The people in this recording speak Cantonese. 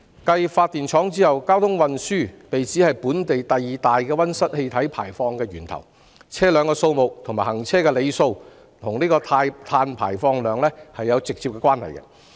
繼發電廠後，交通運輸被指是本地第二大溫室氣體排放源頭，而車輛數目及行車里數與碳排放量有直接關係。